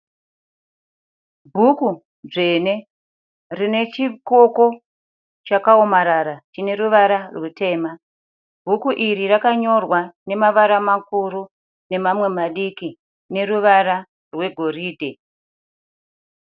Bhuku dzvene rine chikoko chakaomarara chine ruvara rutema. Bhuku iri rakanyorwa nemavara makuru nemamwe madiki neruvara rwegoridhe.